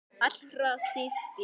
Allra síst ég!